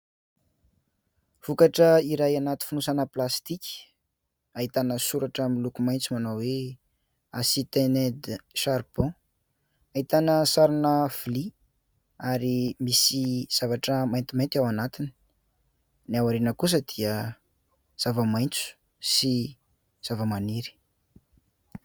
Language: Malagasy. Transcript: Vokatra iray anaty fonosana plastika ahitana soratra miloko maitso manao hoe : Acrivated charbon. Ahitana sarina vilia ary misy zavatra maintimainty ao anatiny. Ny ao aoriana kosa dia zava-maitso sy zava-maniry.